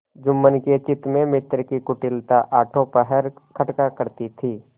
जुम्मन के चित्त में मित्र की कुटिलता आठों पहर खटका करती थी